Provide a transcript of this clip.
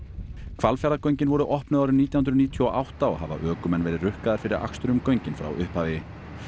Hvalfjarðargöngin voru opnuð árið nítján hundruð níutíu og átta og hafa ökumenn verið rukkaðir fyrir akstur um göngin frá upphafi